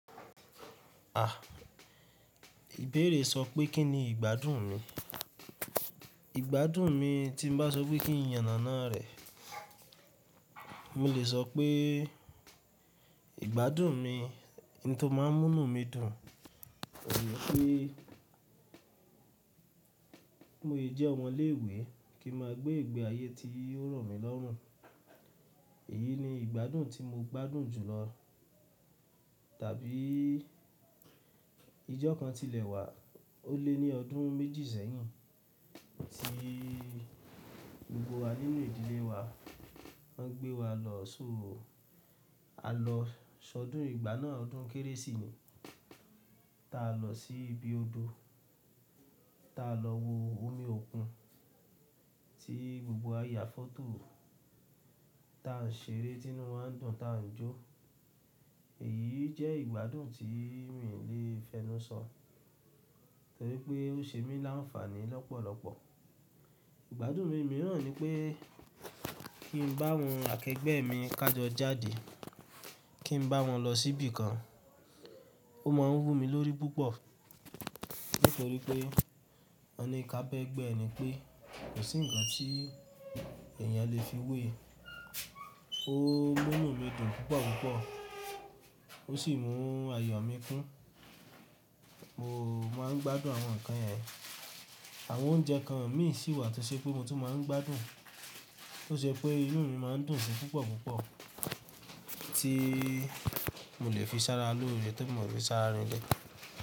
À, ìbéèrè sọ pé kín ni ìgbádùn mi. Ìgbádùn mi tí mo bá sọ pé kí n yàn nána rẹ̀, mi le sọ pé ìgbádùn mi ni tí ó máa ń mú mí dùn, tọrípé mo jẹ́ ọmọ ilé ìwé kí n máa gbé ìgbé ayé tí ó rọ̀ mi lọ́rùn, èyí ni ìgbádùn tí mo gbádùn jùlọ. Tàbí ijọ́ kan tilẹ̀ wà ó lé ní ọdún méjì sẹ́yìn tí gbogbo wa nínú ìdílé wa lọ́ gbé wa lọ sóro. A lọ sọdún ìgbà náà, ọdún kérésì ni. Tá a lọ sí ibi odò, tá a lọ wo omi òkun tí gbogbo wa yà fọ́tò, tá n ṣeré tínú wa ń dùn, tá n jó. Èyí jẹ́ ìgbádùn tí mi le fẹnu sọ, torípé ó ṣe mí láǹfààní lọ́pọ̀lọ́pọ̀. Ìgbádùn mi mìíràn ni pé kí n bá àwọn akẹgbẹ́ mi kájọ jáde, kí n bá wọn lọ síbí kan. Ó máa ń wù mí lórí púpọ̀ nítorí pé ọni kábẹ́gbẹ́ ni pé kò sí ǹkan tí èèyàn le fi wé e, ó mú inu dùn púpọ̀ púpọ̀ ó sì mú ayọ̀ mi kún. Mo máa ń gbádùn àwọn nǹkan yẹn. Àwọn oúnjẹ kan mì í sì wà tí ó ṣe pé mo tún máa ń gbádùn, tó ṣe pé inú mi máa ń dùn síi púpọ̀ púpọ̀ tí mo le fi sára lóore tó mọ̀ bí sára rìn lọ̀.